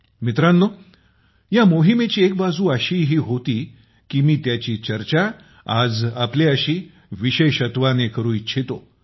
मित्रांनो या मोहिमेचा एक बाजू अशीही होती की मी त्याची चर्चा आज आपल्याशी विशेषत्वाने करू इच्छितो